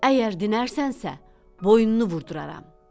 Əgər dinərsənsə, boynunu vurduraram.